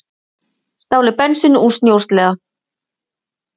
Stálu bensíni úr snjósleða